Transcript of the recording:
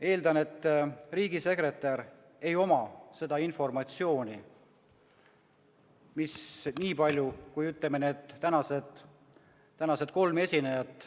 Eeldan, et riigisekretäril ei ole seda informatsiooni nii palju kui neid kolmel tänasel esinejal.